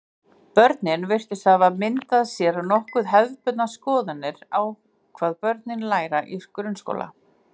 Börnin virtust hafa myndað sér nokkuð hefðbundnar skoðanir á hvað börn læra í grunnskóla.